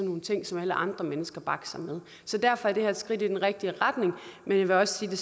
nogle ting som alle andre mennesker bakser med så derfor er det her et skridt i den rigtige retning men jeg vil også sige at